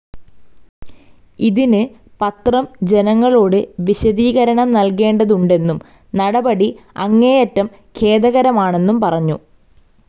ഇതിനു പത്രം ജനങ്ങളോട് വിശദീകരണം നൽകേണ്ടതുണ്ടെന്നും നടപടി അങ്ങേയറ്റം ഖേദകരമാണെന്നും പറഞ്ഞു.